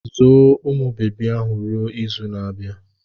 Zoo umụ bebi ahụ ruo izu na-abịa!